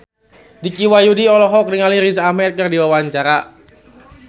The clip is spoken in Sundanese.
Dicky Wahyudi olohok ningali Riz Ahmed keur diwawancara